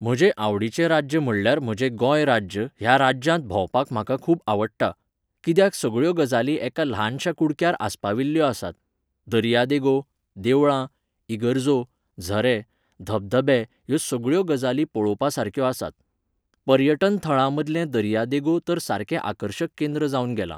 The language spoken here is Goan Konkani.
म्हजें आवडीचें राज्य म्हणल्यार म्हजें गोंय राज्य ह्या राज्यांत भोंवपाक म्हाका खूब आवडटा. कित्याक सगळ्यो गजाली एक ल्हानशा कुडक्यार आस्पाविल्यो आसात. दर्या देगो, देवळां, इगर्जो, झरे, धबधबे ह्यो सगळ्यो गजाली पळोवपा सारक्यो आसात. पर्यटन थळां मदलें दर्या देगो तर सारकें आर्कशक केंद्र जावन गेलां.